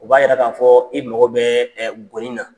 O b'a yira k'a fɔɔ i mɔgɔ bɛɛ goni na.